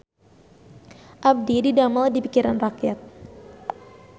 Abdi didamel di Pikiran Rakyat